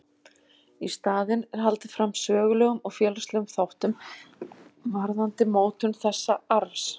Í staðinn er haldið fram sögulegum og félagslegum þáttum varðandi mótun þessa arfs.